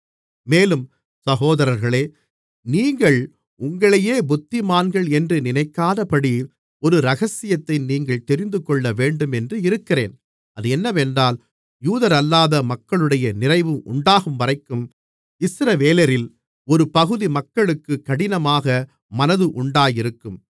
மேலும் சகோதரர்களே நீங்கள் உங்களையே புத்திமான்கள் என்று நினைக்காதபடி ஒரு இரகசியத்தை நீங்கள் தெரிந்துகொள்ளவேண்டும் என்று இருக்கிறேன் அது என்னவென்றால் யூதரல்லாத மக்களுடைய நிறைவு உண்டாகும்வரைக்கும் இஸ்ரவேலரில் ஒரு பகுதி மக்களுக்கு கடினமான மனது உண்டாயிருக்கும்